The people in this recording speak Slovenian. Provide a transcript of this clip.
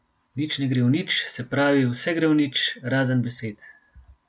Nič ne gre v nič, se pravi, vse gre v nič, razen besed.